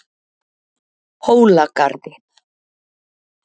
Hólagarði